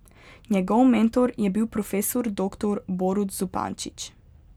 Njegov mentor je bil profesor doktor Borut Zupančič.